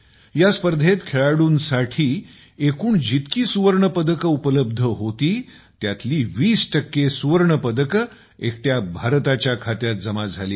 या स्पर्धेत खेळाडूंसाठी एकूण जितकी सुवर्णपदके उपलब्ध होती त्यातील 20 सुवर्णपदके एकट्या भारताच्या खाती जमा झाली आहेत